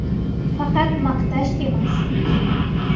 Faqat maqtash emas.